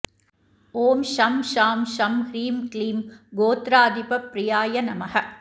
ॐ शं शां षं ह्रीं क्लीं गोत्राधिपप्रियाय नमः